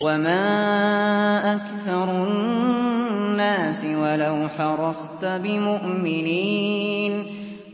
وَمَا أَكْثَرُ النَّاسِ وَلَوْ حَرَصْتَ بِمُؤْمِنِينَ